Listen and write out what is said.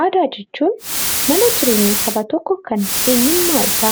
Aadaa jechuun mana jireenya saba tokkoo kan eenyummaa isaa